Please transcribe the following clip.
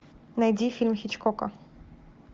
найди фильм хичкока